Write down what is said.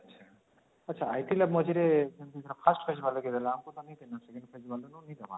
ଆଛା ITl lab ମଝିରେ